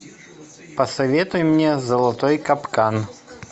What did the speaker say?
посоветуй мне золотой капкан